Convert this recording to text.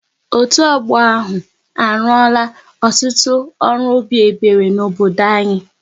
Otu ọgbọ ahụ, a ruora ọtụtụ ọrụ obi ebere n'obodo anyị